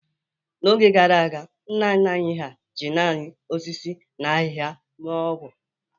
N'oge gara aga, nna nna anyị hà ji naanị osisi na ahịhịa mee ọgwj